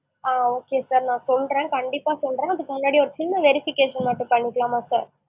ஆ okay sir நான் சொல்றேன் கண்டிப்பா சொல்றேன் அதுக்கு முன்னாடி, ஒரு சின்ன verification மட்டும் பண்ணிக்கலாமா sir?